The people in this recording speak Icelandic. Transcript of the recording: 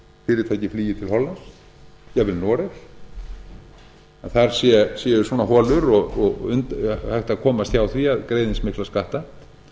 fyrirtæki flýi til hollands jafnvel noregs að þar séu svona holur og hægt að komast hjá því að greiða eins mikla skatta